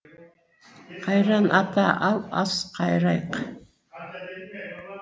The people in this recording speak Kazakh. қайран ата ал ас қайырайық